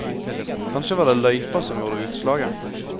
Kanskje var det løypa som gjorde utslaget.